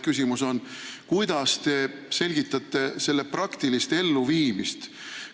Kuidas te aga selgitate selle praktilist elluviimist?